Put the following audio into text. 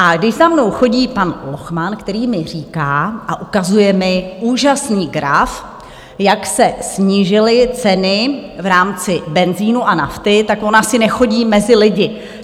A když za mnou chodí pan Lochman, který mi říká a ukazuje mi úžasný graf, jak se snížily ceny v rámci benzinu a nafty, tak on asi nechodí mezi lidi.